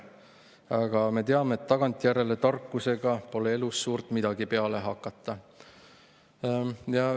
Aga me teame, et tagantjärele tarkusega pole elus suurt midagi peale hakata.